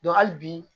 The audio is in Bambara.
hali bi